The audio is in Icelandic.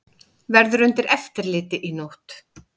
Verður undir eftirliti í nótt